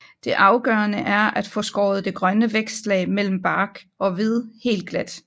Det afgørende er at få skåret det grønne vækstlag mellem bark og ved helt glat